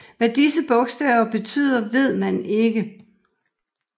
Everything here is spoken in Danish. Hvad disse bogstaver betyder ved man ikke